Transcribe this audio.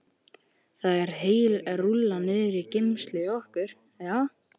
Það er heil rúlla niðri í geymslu hjá okkur, já.